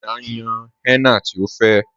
Àmínà ǹ yán henna tí ọ fẹ́